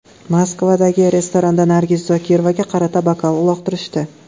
Moskvadagi restoranda Nargiz Zokirovaga qarata bokal uloqtirishdi.